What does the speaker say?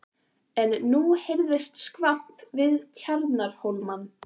En nú heyrðist skvamp við Tjarnarhólmann.